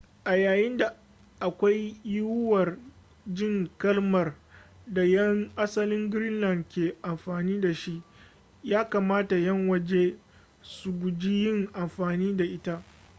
a yayin da akwai yiwuwar jin kalmar da 'yan asalin greenland ke amfani dashi ya kamata 'yan waje su guji yin amfani da ita